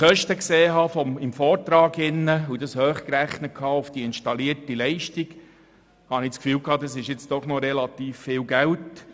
Als ich im Vortrag die Kosten sah und diese auf die installierte Leistung hochrechnete, hatte ich das Gefühl, es handle sich um einen relativ hohen Betrag.